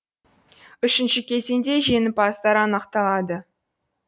үшінші кезеңде жеңімпаздар анықталады